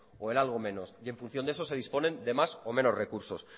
o en algo menos y en función de eso se disponen de más o menos recursos